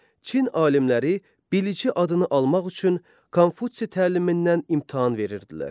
Çin alimləri biliçi adını almaq üçün Konfutsi təlimindən imtahan verirdilər.